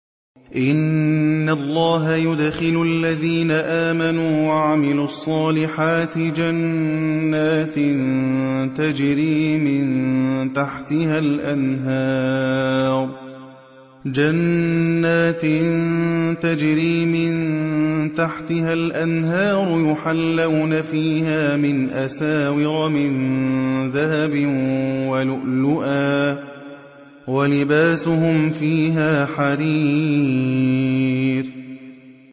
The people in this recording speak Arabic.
إِنَّ اللَّهَ يُدْخِلُ الَّذِينَ آمَنُوا وَعَمِلُوا الصَّالِحَاتِ جَنَّاتٍ تَجْرِي مِن تَحْتِهَا الْأَنْهَارُ يُحَلَّوْنَ فِيهَا مِنْ أَسَاوِرَ مِن ذَهَبٍ وَلُؤْلُؤًا ۖ وَلِبَاسُهُمْ فِيهَا حَرِيرٌ